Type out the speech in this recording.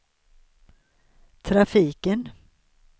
trafiken